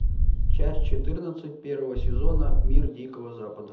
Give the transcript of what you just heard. часть четырнадцать первого сезона мир дикого запада